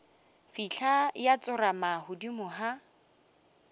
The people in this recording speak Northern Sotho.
fihla ya tsorama godimo ga